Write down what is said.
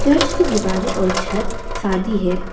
इसकी दीवारें और छत शादी है।